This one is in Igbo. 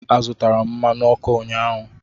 Azụtara m mmanụ ọkụ ụnyahụ.